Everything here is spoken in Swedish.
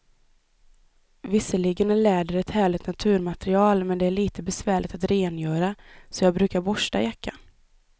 Visserligen är läder ett härligt naturmaterial, men det är lite besvärligt att rengöra, så jag brukar borsta jackan.